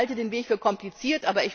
Ich halte den Weg für kompliziert.